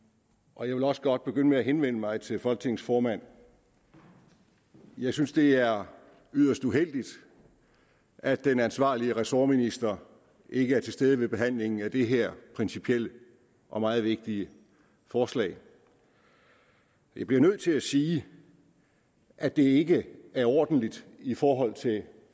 og jeg vil også godt begynde med at henvende mig til folketingets formand for jeg synes det er yderst uheldigt at den ansvarlige ressortminister ikke er til stede ved behandlingen af det her principielle og meget vigtige forslag jeg bliver nødt til at sige at det ikke er ordentligt i forhold til